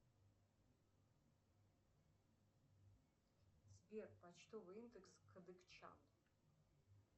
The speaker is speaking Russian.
сбер почтовый индекс кадыкчан